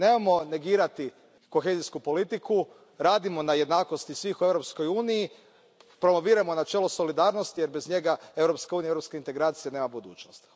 Nemojmo negirati kohezijsku politiku, radimo na jednakosti svih u Europskoj uniji, promovirajmo načelo solidarnosti jer bez njega Europska unija i europske integracije nemaju budućnosti.